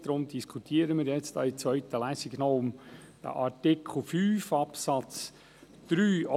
Deswegen diskutieren wir in der zweiten Lesung den Artikel 5 Absatz 3.